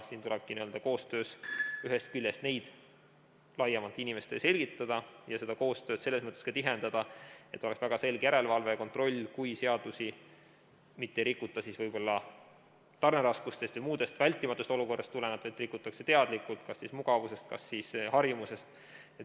Siin tulebki ühest küljest neid laiemalt inimestele selgitada ja seda koostööd selles mõttes ka tihendada, et oleks väga selge järelevalve ja kontroll, kui seadusi ei rikuta võib-olla tarneraskustest või muust vältimatust olukorrast tulenevalt, vaid rikutakse teadlikult kas mugavusest või harjumusest.